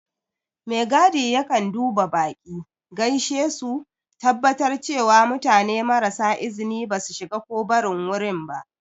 Megadi yakan duba baƙi, gaishe su, tabbatar cewa mutane marasa izini ba su shiga ko barin wurin ba.